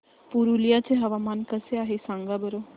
पुरुलिया चे हवामान कसे आहे सांगा बरं